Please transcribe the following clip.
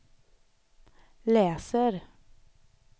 läser